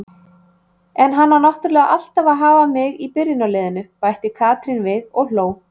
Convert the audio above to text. En hann á náttúrulega alltaf að hafa mig í byrjunarliðinu! bætti Katrín við og hló.